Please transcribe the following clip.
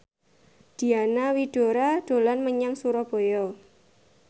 Diana Widoera dolan menyang Surabaya